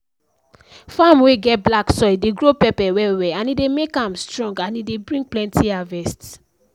farm wey get black soil dey grow pepper well well e dey make am strong and e dey bring plenty harvest